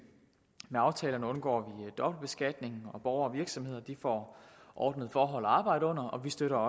med aftalerne undgår vi dobbeltbeskatning og borgere og virksomheder får ordnede forhold at arbejde under og vi støtter